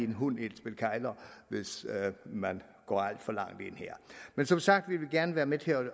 en hund i et spil kegler hvis man går alt for langt ind her men som sagt vil vi gerne være med til at